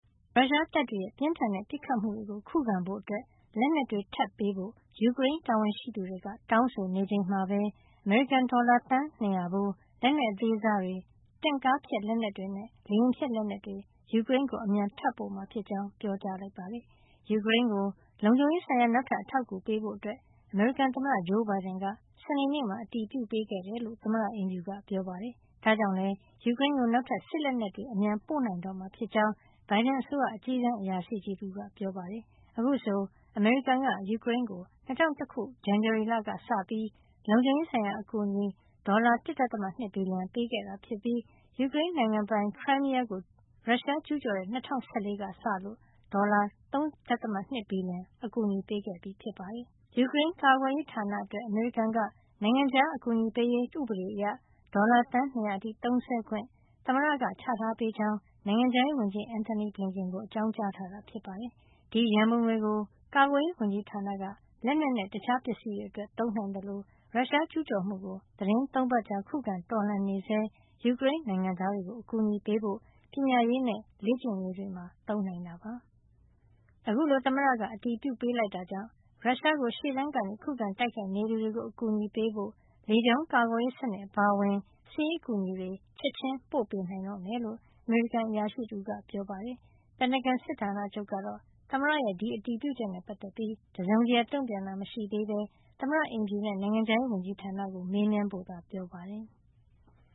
ရုရှားတပ်တွေရဲ့ ပြင်းထန်တဲ့ ပစ်ခတ်မှုတွေ ခုခံဖို့အတွက် လက်နက်တွေထပ်ပေးဖို့ ယူကရိန်း တာဝန်ရှိသူတွေက တောင်းဆိုနေချိန်မှာပဲ အမေရိကန်က ဒေါ်လာ သန်း ၂၀၀ ဖိုး လက်နက်အသေးစားတွေ၊ တင့်ကားဖျက်လက်နက်တွေနဲ့ လေယာဉ်ဖျက် လက်နက်တွေ ယူကရိန်းကို အမြန်ထပ်ပို့မှာဖြစ်ကြောင်း ပြောပါတယ်။ ယူကရိန်းကို လုံခြုံရေးဆိုင်ရာ နောက်ထပ် အထောက်အကူပေးဖို့ အမေရိကန်သမ္မတ ဂျိုးဘိုင်ဒန်က စနေနေ့မှာ အတည်ပြုပေးခဲ့တယ်လို့ သမ္မတအိမ်ဖြူက ပြောပါတယ်။ ဒါ့ကြောင့်လည်း ယူကရိန်းကို နောက်ထပ် စစ်လက်နက်တွေ အမြန်ပို့ပေးနိုင်တော့မှာ ဖြစ်ကြောင်း ဘိုင်ဒန်အစိုးရ အကြီးတန်းအရာရှိကြီးတဦးက ပြောပါတယ်။ အခုဆို အမေရိကန်က ယူကရိန်းကို ၂၀၂၁ ဇန်နဝါရီကစပြီး လုံခြုံရေးဆိုင်ရာ အကူအညီအဖြစ် ဒေါ်လာ ၁ ဒသမ ၂ ဘီလီယံ အကူအညီပေးခဲ့တာဖြစ်ပြီး ယူကရိန်းနိုင်ငံပိုင် Crimea ကို ရုရှားကျူးကျော်တဲ့ ၂၀၁၄ ခုနှစ်ကစလို့ ဒေါ်လာ ၃ ဒသမ ၂ ဘီလီယံ အကူအညီပေးခဲ့တာ ဖြစ်ပါတယ်။ ယူကရိန်းကာကွယ်ရေးဌာနအတွက် အမေရိကန်က နိုင်ငံခြားအကူအညီပေးရေး ဥပဒေအရ ဒေါ်လာ သန်း ၂၀၀ အထိ သုံးခွင့် သမ္မတက ချထားပေးကြောင်း နိုင်ငံခြားရေးဝန်ကြီး Antony Blinken ကို အကြောင်းကြားထားတာ ဖြစ်ပါတယ်။ ဒီရန်ပုံငွေကို ကာကွယ်ရေးဝန်ကြီးဌာနက လက်နက်နဲ့ တခြားပစ္စည်းတွေအတွက် သုံးနိုင်သလို ရုရှားကျူးကျော်မှုကို သီတင်း ၃ ပတ်ကြာ ခုခံတော်လှန်နေဆဲ ယူကရိန်းနိုင်ငံသားတွေကို အကူအညီပေးဖို့ ပညာရေးနဲ့ လေ့ကျင့်ရေးတွေမှာ သုံးနိုင်တာပါ။ အခုလို သမ္မတက အတည်ပြုပေးလိုက်တာကြောင့် ရုရှားကို ရှေ့တန်းက ခုခံတိုက်ခိုက်နေသူတွေကို အကူအညီပေးဖို့ လေကြောင်းကာကွယ်ရေးစနစ် အပါအဝင် စစ်ရေးအကူအညီတွေ ချက်ချင်းပို့ပေးနိုင်တော့မှာဖြစ်ကြောင်း အမေရိကန် အရာရှိတဦးက ပြောပါတယ်။ ပင်တဂွန်စစ်ဌာနချုပ်ကတော့ သမ္မတရဲ့ ဒီအတည်ပြုချက်နဲ့ ပတ်သက်ပြီး တစုံတရာ တုံ့ပြန်တာ မရှိသေးဘဲ သမ္မတအိမ်ဖြူနဲ့ နိုင်ငံခြားရေးဝန်ကြီးဌာနကို မေးမြန်းဖို့ ပြောပါတယ်။